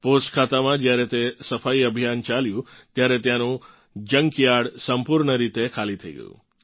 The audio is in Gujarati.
પોસ્ટખાતામાં જ્યારે તે સફાઇ અભિયાન ચાલ્યું ત્યારે ત્યાંનું જંકયાર્ડ સંપૂર્ણ રીતે ખાલી થઇ ગયું